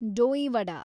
dahi vada